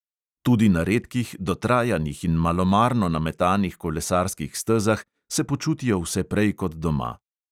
Tudi na redkih, dotrajanih in malomarno nametanih kolesarskih stezah se počutijo vse prej kot doma.